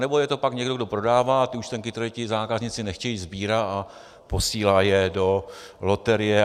Anebo je to pak někdo, kdo prodává a účtenky, které ti zákazníci nechtějí, sbírá a posílá je do loterie.